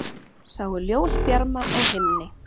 Sáu ljósbjarma á himni